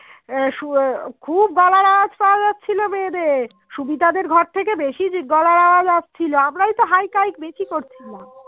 সুমিতাদের গড় থেকে বেশি গলার আওয়াজ আসছিলো আমরাই তো হাই থাই বেশি করছিলাম